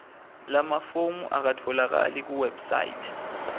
lamafomu akatfolakali kuwebsite